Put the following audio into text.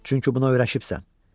Çünki buna öyrəşibsən.